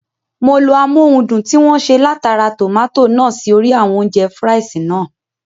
Mo lo amóhundùn tí wọ́n ṣe látara tòmátò náà sí orí àwọn oúnjẹ (fries) náà